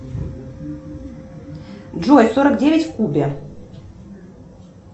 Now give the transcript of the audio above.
джой сорок девять в кубе